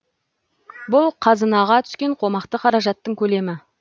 бұл қазынаға түскен қомақты қаражаттың көлемі